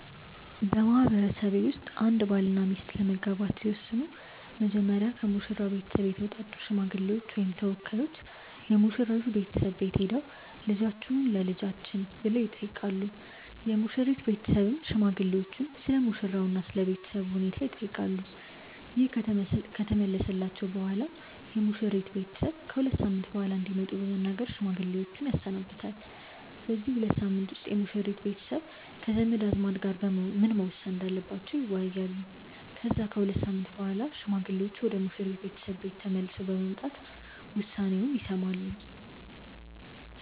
በማህበረሰቤ ውስጥ አንድ ባልና ሚስት ለመጋባት ሲወስኑ መጀመሪያ ከሙሽራው ቤተሰብ የተውጣጡ ሽማግሌዎች ወይም ተወካዮች የሙሽራይቱ ቤተሰብ ቤት ሄደው "ልጃችሁን ለልጃችን" ብለው ይጠይቃሉ። የሙሽሪት ቤተሰብም ሽማግሌዎቹን ስለሙሽራው እና ስለ ቤተሰቡ ሁኔታ ይጠይቃሉ። ይህ ከተመለሰላቸው በኋላም የሙሽሪት ቤተሰብ ከ ሁለት ሳምንት በኋላ እንዲመጡ በመናገር ሽማግሌዎችን ያሰናብታል። በዚህ ሁለት ሳምንት ውስጥ የሙሽሪት ቤተሰብ ከዘመድ አዝማድ ጋር ምን መወሰን እንዳለባቸው ይወያያሉ። ከዛ ከሁለት ሳምንት በኋላ ሽማግሌዎቹ ወደ ሙሽሪት ቤተሰብ ቤት ተመልሰው በመምጣት ውሳኔውን ይሰማሉ።